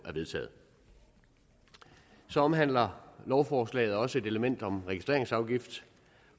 er vedtaget så omhandler lovforslaget også et element om registreringsafgift